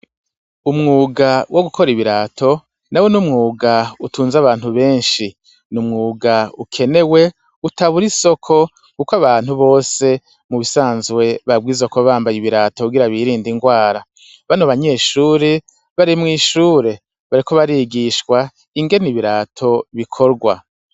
Umwuga wo gukor' ibirato nawo n' umwug' utunz' abantu benshi n'umwug' ukenewe, utabur' isoko kuk' abantu bose mubisanzwe babwirizwa kuba bambay' ibirato kugira birind' ingwara, bano banyeshure bari rmw' ishure bariko barigishw' ingen' ibirato bikogwa.